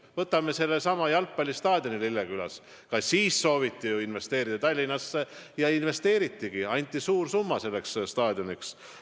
Võtame sellesama jalgpallistaadioni Lillekülas – ka siis sooviti investeerida Tallinnasse ja investeeritigi, anti suur summa selleks staadioniks.